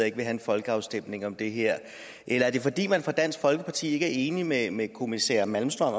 ikke have en folkeafstemning om det her eller er det fordi man fra dansk folkepartis side ikke er enig med med kommissær malmström